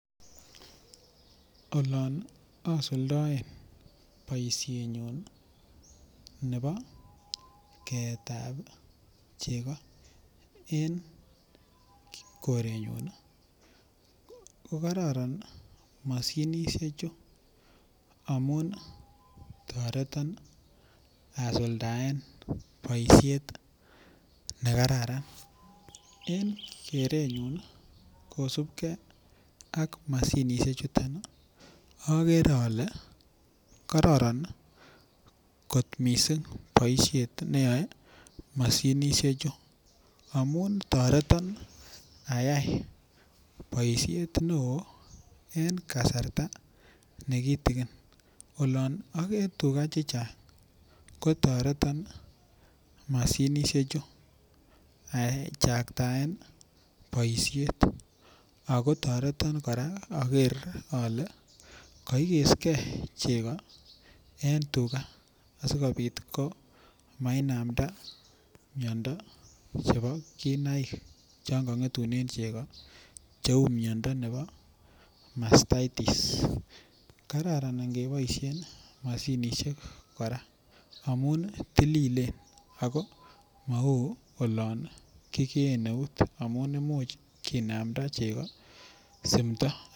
Olan asuldaen poishenyun nepo keet ao cheko en korenyun ko kararan mashinishechu amun tareta asuldaen poishet ne kararan. En kenyun kosupgei ak mashinishechutok i, agere ale kararan kot missing' poishet ne yae mashinishechu amun taretan ayai poishet neoo eng' kasarta ne kitikin. Olan agee tuga che chang', kotareta mashinishechu achataen poishet. Ako taretan kora aker ale kaikesken cheko en tuga asikopit ko ma inamda miando chepo kinaik yan kang'etune cheko, cheu miondo nepo mastitis. Kararan ngkepaishen mashinishek kora maun tililen, mau ya kikee keut amu imuch kinamda heko simdo.